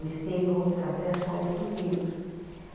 Eles têm acesso a outros livros.